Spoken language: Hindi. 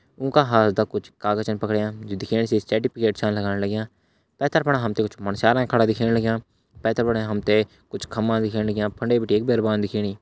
उंका हाथदा कुछ कागज छ पकड़ियाँ जू दिखेण से सर्टिफिकेट च लगण लग्यां पेथर फणा हमते कुछ मुन्स्यार खड़ा दिखेण लग्यां पेथर फणा हमते कुछ खम्बा दिखेण लग्यां फंडे बिटि एक बैरवान दिखेणी।